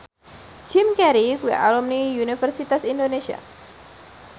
Jim Carey kuwi alumni Universitas Indonesia